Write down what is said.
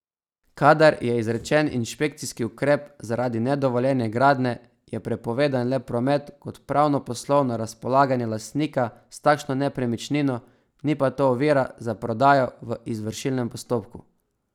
Kadar je izrečen inšpekcijski ukrep zaradi nedovoljene gradnje, je prepovedan le promet kot pravno poslovno razpolaganje lastnika s takšno nepremičnino, ni pa to ovira za prodajo v izvršilnem postopku.